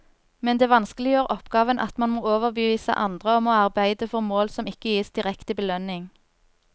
Men det vanskeliggjør oppgaven at man må overbevise andre om å arbeide for mål som ikke gis direkte belønning.